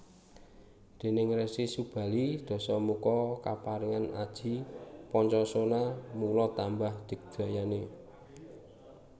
Déning Resi Subali Dasamuka kaparingan aji Pancosona mula tambah digdayané